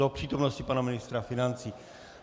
Do přítomnosti pana ministra financí.